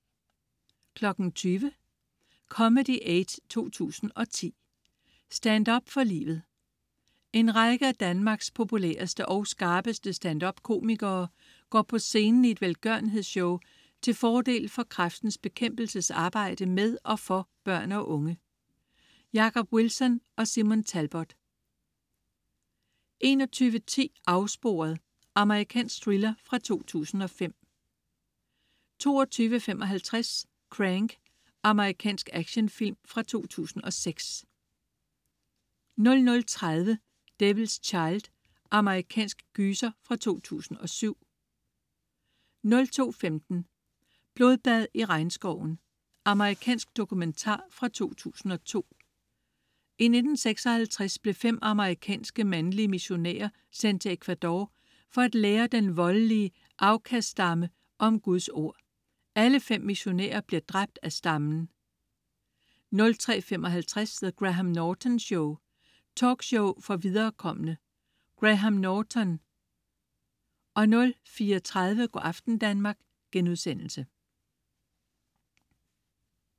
20.00 Comedy Aid 2010. Stand-up for livet. En række af Danmarks populæreste og skarpeste stand-up-komikere går på scenen i et velgørenhedsshow til fordel for Kræftens Bekæmpelses arbejde med og for børn og unge. Jacob Wilson og Simon Talbot 21.10 Afsporet. Amerikansk thriller fra 2005 22.55 Crank. Amerikansk actionfilm fra 2006 00.30 Devil's Child. Amerikansk gyser fra 2007 02.15 Blodbad i regnskoven. Amerikansk dokumentar fra 2002. I 1956 blev fem amerikanske mandlige missionærer sendt til Ecuador for at lære den voldelige Aucas-stamme om Guds ord. Alle fem missionærer bliver dræbt af stammen 03.55 The Graham Norton Show. Talkshow for viderekomne. Graham Norton 04.30 Go' aften Danmark*